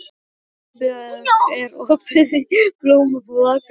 Eldbjörg, er opið í Blómabúð Akureyrar?